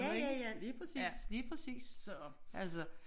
Ja ja ja lige præcis lige præcis altså